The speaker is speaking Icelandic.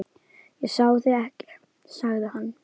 Ég sá þig ekki, sagði hann.